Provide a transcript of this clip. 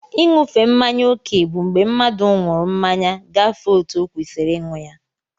I núfe mmáñyá okè bụ mgbé mmadụ nwụrụ mmanya gafee ọtu okwesiri ịnụ ya.